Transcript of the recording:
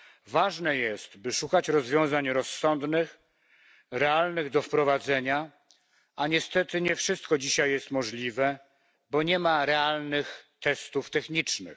Ważne jest, by szukać rozwiązań rozsądnych, realnych do wprowadzenia, a niestety nie wszystko dzisiaj jest możliwe, bo nie ma realnych testów technicznych.